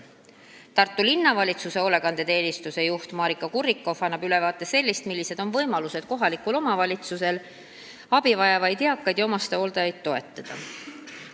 Tartu Linnavalitsuse hoolekandeteenistuse juht Maarika Kurrikoff annab ülevaate sellest, millised on kohaliku omavalitsuse võimalused abi vajavaid eakaid ja omastehooldajaid toetada.